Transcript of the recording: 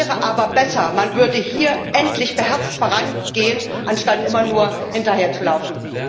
Es wäre aber besser, man würde hier endlich beherzt vorangehen, anstatt immer nur hinterherzulaufen.